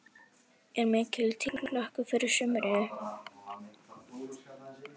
Er mikil tilhlökkun fyrir sumrinu?